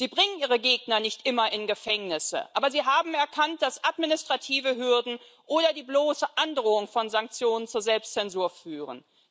Sie bringen ihre Gegner nicht immer in Gefängnisse, aber sie haben erkannt, dass administrative Hürden oder die bloße Androhung von Sanktionen zur Selbstzensur führen.